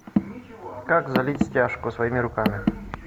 как залить стяжку своими руками